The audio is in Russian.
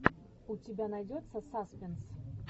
у тебя найдется саспенс